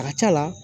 A ka c'a la